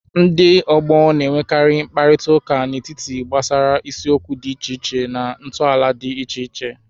Ndị ọgbọ na-enwekarị mkparịta ụka nkịtị gbasara isiokwu dị iche iche na ntọala dị iche iche.